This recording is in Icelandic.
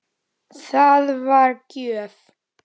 Það var gjöf.